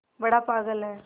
बड़ा पागल है